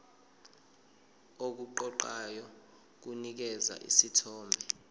okuqoqayo kunikeza isithombe